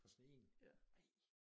For sådan én? Ej